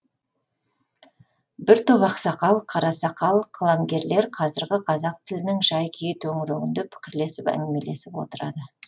бір топ ақсақал қарасақал қаламгерлер қазіргі қазақ тілінің жай күйі төңірегінде пікірлесіп әңгімелесіп отырады